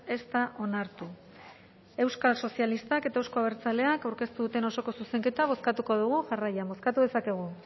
ez da onartu euskal sozialistak eta euzko abertzaleak aurkeztu duten osoko zuzenketa bozkatuko dugu jarraian bozkatu dezakegu